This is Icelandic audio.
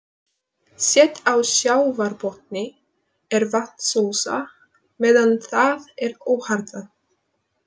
Set á sjávarbotni er vatnsósa meðan það er óharðnað.